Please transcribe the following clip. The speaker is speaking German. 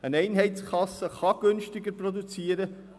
Eine Einheitskasse kann günstiger produzieren;